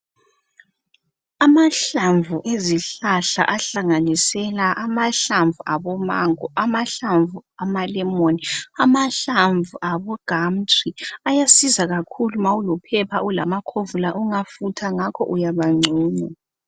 Amahlamvu ezihlahla ahlanginisela amahlamvu abo mango amahlamvu ama"lemon"amahlamvu abo "gumtree" ayasiza kakhulu nxa ulophepha ulamakhovula ungafutha ngakho uyaba ngcono.